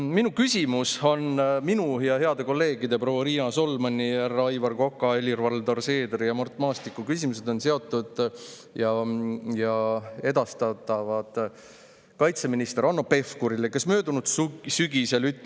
Minu küsimus ja heade kolleegide proua Riina Solmani, härra Aivar Koka, Helir-Valdor Seederi ja Mart Maastiku küsimused on edastamiseks kaitseminister Hanno Pevkurile ja need on seotud.